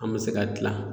An bɛ se ka dilan